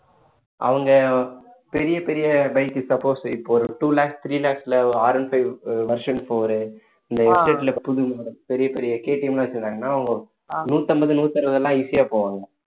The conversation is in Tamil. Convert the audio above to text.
அவங்க பெரிய பெரிய bike suppose இப்போ ஒரு two lakhs three lakhs ல ஆர் one five version four இந்த புது பெரிய பெரிய KTM லாம் வெச்சிருக்காங்கன்னா அவங்க நூத்தம்பது நூத்தி அறுபது எல்லாம் easy ஆ போவாங்க